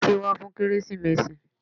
Títí wá fún kérésìmesì.